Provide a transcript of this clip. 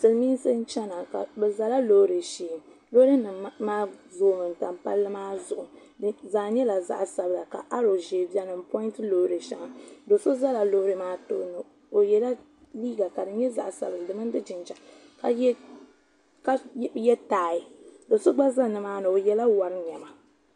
Silimiinsi n chena bɛ zala loori shee loori nima maa zoomi n tam palli maa zuɣu di zaa nyɛla zaɣa sabla ka aro ʒee biɛni n ponti loori sheŋa do'so zala loori maa tooni o yela liiga ka di nyɛ zaɣa sabinli di mini di jinjiɛm ka ye taaya do'so gba za nimaani o yela wori niɛma.